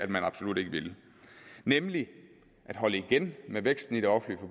den absolut ikke ville nemlig at holde igen med væksten i det offentlige